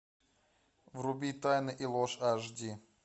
вруби тайны и ложь аш ди